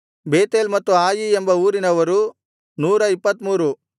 Bethel ಮತ್ತು ಆಯಿ ಎಂಬ ಊರಿನವರು 123